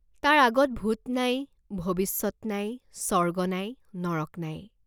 তাৰ আগত ভূত নাই, ভৱিষ্যত নাই, স্বৰ্গ নাই, নৰক নাই।